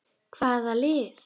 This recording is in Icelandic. Hvaða lið?